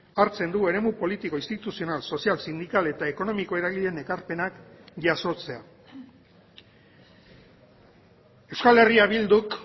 hartzen du eremu politiko instituzional sozial sindikal eta ekonomiko eragileen ekarpenak jasotzea euskal herria bilduk